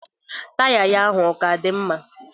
Taya ya ahụ ọ ka dị mma?